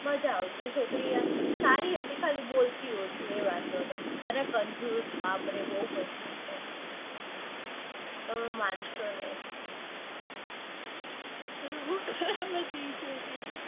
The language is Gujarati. મજા આવતી એ છોકરી સારી હતી એમ પણ બોલતી બૌ ઓછી હતી એ વાંધો હતો. અને કંજૂસ બાપરે બૌ કંજૂસ હતી. તમે માનસો નઈ. તમે